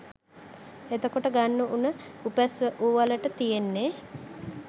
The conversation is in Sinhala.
එතකොට ගන්න උන උපැස් උවලට තියෙන්නේ